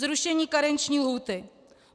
Zrušení karenční lhůty.